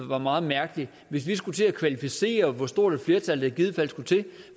være meget mærkeligt hvis vi skulle til at kvalificere hvor stort et flertal der i givet fald skulle til